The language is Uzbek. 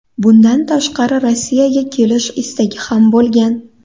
Bundan tashqari Rossiyaga kelish istagi ham bo‘lgan.